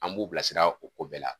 An b'u bila sira o ko bɛɛ la.